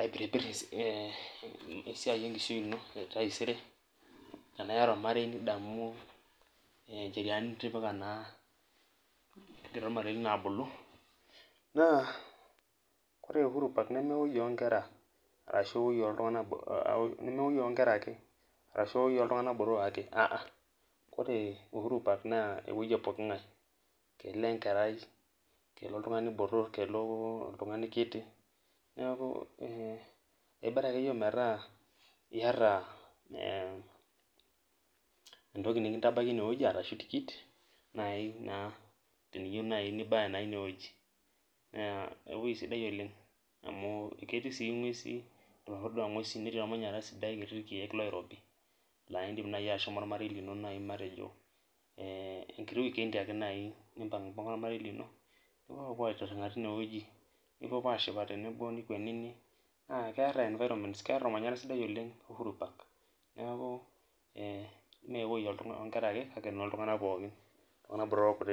aipiripir esiai enkishui ino teiata ormarei nidamu ncheriani nitipika koree uhuru park namewoi onkera ake arashu ewoi oltunganak botorok kelo enkerai kelo oltungani botor kelo orkiti bora akeyie metaa iyata entoki nikilo aitabaki inewueji na ketii si ngwesi netii ormanyara sidai laindim ashomo ormarei lino nipuopuo aitiringa tinewueji nikwenini na keta ormanyara sidai tenewueji neaku mewoi onkera ake ewoi oltunganak pooki